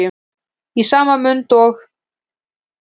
Í sama mund og